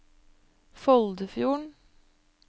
Foldfjorden